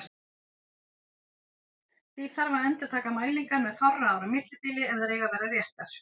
Því þarf að endurtaka mælingar með fárra ára millibili ef þær eiga að vera réttar.